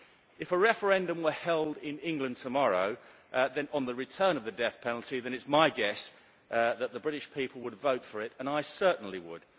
If a referendum were held in England tomorrow on the return of the death penalty, it is my guess that the British people would vote for it, and I certainly would.